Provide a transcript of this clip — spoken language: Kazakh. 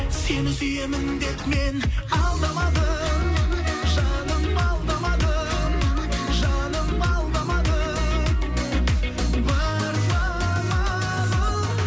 сені сүйемін деп мен алдамадым жаным алдамадым жаным алдамадым бар ма амалым